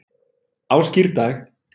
á skírdag